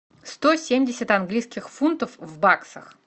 сто семьдесят английских фунтов в баксах